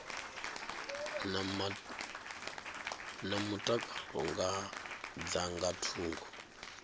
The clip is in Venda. na mutakalo dza nga thungo